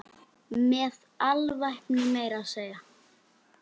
Með alvæpni meira að segja!